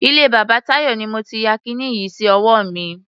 Ilé bàbá Táyọ̀ ni mo ti ya kiní yìí sí ọwọ́ mi.